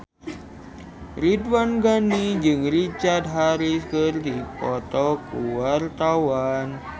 Ridwan Ghani jeung Richard Harris keur dipoto ku wartawan